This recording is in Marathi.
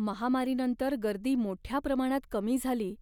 महामारीनंतर गर्दी मोठ्या प्रमाणात कमी झाली